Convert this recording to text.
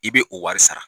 I bɛ o wari sara